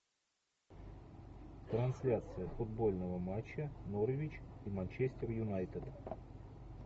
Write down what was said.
трансляция футбольного матча норвич и манчестер юнайтед